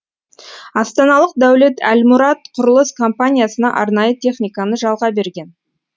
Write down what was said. астаналық дәулет әлмұрат құрылыс компаниясына арнайы техниканы жалға берген